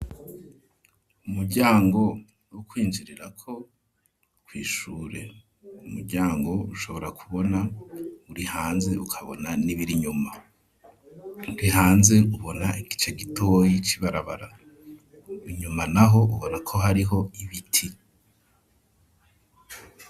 Umuryango wo kwinjirirako kw'ishure. umuryango ushobora ku bona uri hanze ukabona n'ibiri inyuma uri hanze ubona igice gitoyi c'ibarabara inyuma naho ubonako hariho ibiti.